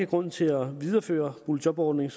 grund til at videreføre boligjobordningen